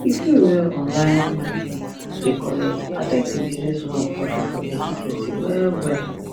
the fee wey online market dey collect affect the businesswoman profit for twenty twenty two wellwell